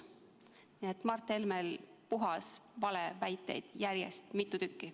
Nii et Mart Helmelt puhtaid valeväiteid järjest mitu tükki.